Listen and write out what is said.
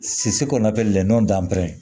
kɔnɔ len